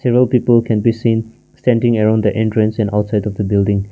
several people can be seen standing around the entrance and outside of the building.